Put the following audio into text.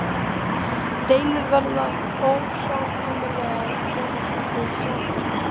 Deilur verða óhjákvæmilega í hjónabandi og sambúð.